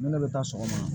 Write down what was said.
Ne ne bɛ taa sɔgɔma